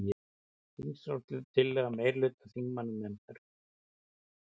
Þingsályktunartillaga meirihluta þingmannanefndar